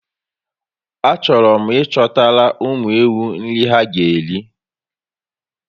A chọrọ m ị chọtara ụmụ ewu nri ha ga eri